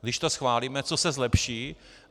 Když to schválíme, co se zlepší.